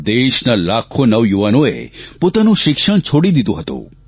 દેશના લાખો નવયુવાનોએ પોતાનું શિક્ષણ છોડી દીધું હતું